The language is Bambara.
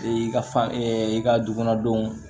E y'i ka fan i ka dukɔnɔ denw